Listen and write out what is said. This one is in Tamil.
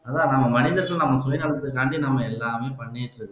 அதான் நம்ம மனிதர் சுயநலத்துக்காக நம்ம எல்லாமே பண்ணிட்டு இருக்கோம்